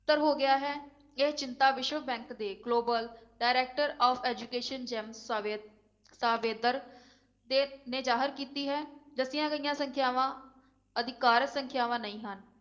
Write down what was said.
ਸੱਤਰ ਹੋ ਗਿਆ ਹੈ ਇਹ ਚਿੰਤਾ ਵਿਸ਼ਵ bank ਦੇ global director of education Jaime ਸਾਵੇ~ ਸਾਵੇਦਰ ਦੇ ਨੇ ਜਾਹਰ ਕੀਤੀ ਹੈ, ਦੱਸੀਆਂ ਗਈਆਂ ਸੰਖਿਆਵਾਂ ਅਧਿਕਾਰਕ ਸੰਖਿਆਵਾਂ ਨਹੀਂ ਹਨ।